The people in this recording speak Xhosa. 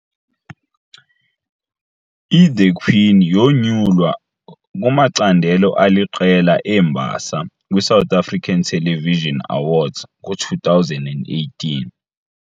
I"The Queen" yonyulwa kumacandelo aliqela embasa kwiSouth African Television Awards ngo-2018.